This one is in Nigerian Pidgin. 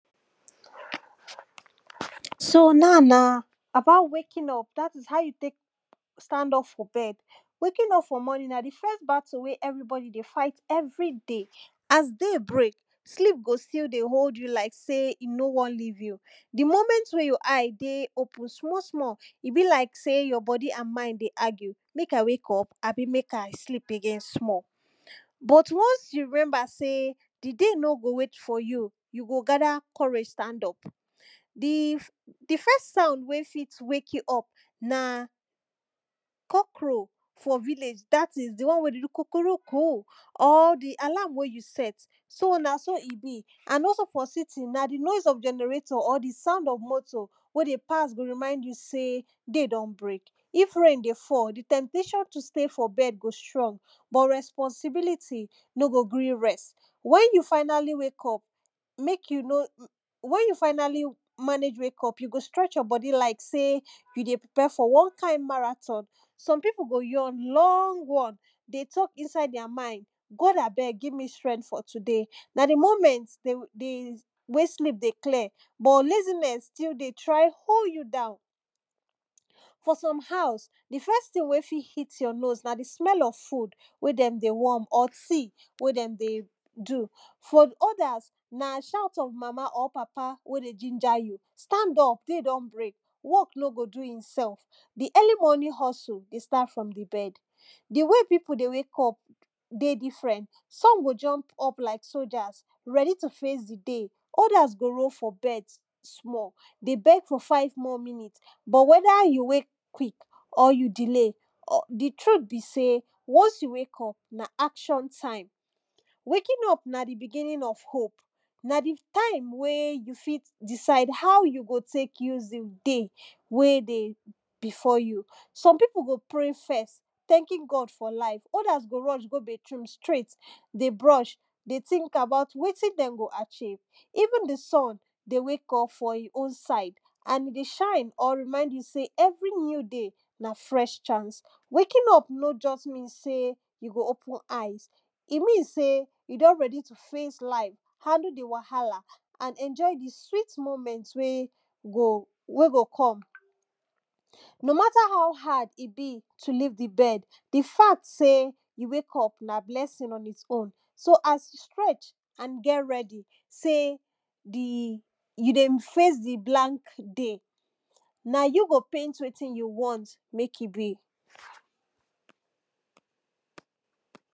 so now na about waking up dat is how you take stand up from bed. waking up for morning na di first battle wey everybody dey fight everyday, as day break sleep go still dey hold you like sey e nor wan leave you. di moment when your eye dey open small small e be like sey your body and mind dey argue make I wake up abi make I sleep again small? but once you remember sey, di day nor go wait for you you go gather courage stand up. di di fisrt sound when fit wake you up na cockrel for village dat is di one wen dey do kukuruku or di alarm wey you set. so na so e be and also for city na di noise of generator or di sound of motor wey dey pass go remind you sey day don break. if rain dey fall, di temptation to stay for bed go strong but responsibility nor go gree you rest. when you finally wake up make you no, when you finally manage wake up you go stretch your body like sey you dey prepare for one kind marathon. some people go yawn long one dey talk inside their mind God abeg give me strength for today. na di moment di wen sleep dey clear but laziness still dey try hold you down. for some hause di first thing wey fit hit your nose na di smell of food wey dem dey warm or tea wen dem dey do. for others, na shout of mama or papa wen dey ginger you; stand up day don break work nor go do im self, di early morning hustle dey start from di bed. di way people dey wake up dey different, some go jump up like soldiers ready to face di day. others go roll for bed small dey beg for five more minutes but wether you wake quick or you delay, di truth be sey once you wake up na action time. waking up na di beginning of hope. na di time wey you fit decide how you go take use di day wey dey before you. some people go pray first thanking God for life, others go rush go bathe room straight dey brush dey think about wetin dem go achieve. even di sun dey wake up for in own side and di shine all remind you sey every new day na fresh chance. na fresh chance waking up nor just mean sey you go open eyes, I mean sey you ready to face life, handle di wahala and enjoy di sweet moment wey go wey go come. ‘no matter how hard e be to leave di bed, di fact sey you wake up na blessing on in own. so as you stretch and get ready, sey di [puse] you dey face di blank day. na you go paint wetin you want make e be.